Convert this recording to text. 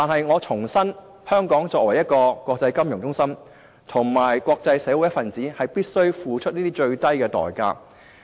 我重申，香港作為國際金融中心及國際社會一分子，必須付出這些最低代價。